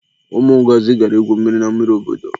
Ụmụ Ngọzi gara ígwù mmiri na mmiri obodo ha.